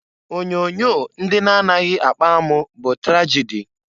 Onyoonyo ndị na-anaghị akpa amụ bụ tragịdị.